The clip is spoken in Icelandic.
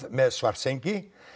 með Svartsengi